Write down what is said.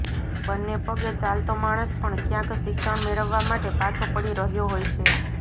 બંને પગે ચાલતો માણસ પણ કયાંક શિક્ષણ મેળવવા માટે પાછો પળી રહયો હોય છે